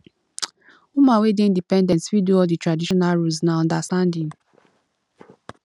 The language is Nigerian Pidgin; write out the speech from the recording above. woman wey dey independent fit do all di traditional roles na understanding